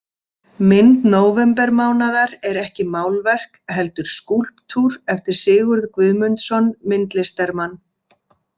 Mynd nóvembermánaðar er ekki málverk heldur skúlptúr eftir Sigurð Guðmundsson myndlistarmann.